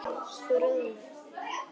Þú roðnar.